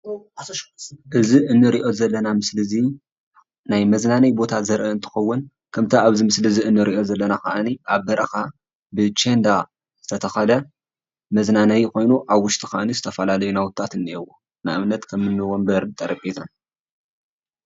እዚ እንሪኦ ዘለና ምስሊ እዙይ ናይ መዝናነይ ቦታ ዘርኢ እንትከውን ከምቲ ኣብዚ ምስሊ እንሪኦ ዘለና ከዓ ኣብ በረካ ብቸንዳ ዝተተከለ መዝናነይ ኮይኑ ኣብ ውሽጡ ከዓ ዝተፈላለዩ ናውቲታት እኒአውዎ፡፡ ንኣብነት ከም እኒ ወንበር፣ ጠረጴዛ